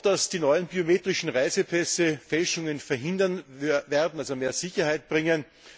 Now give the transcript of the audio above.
Man hat gehofft, dass die neuen biometrischen Reisepässe Fälschungen verhindern werden, also mehr Sicherheit bringen.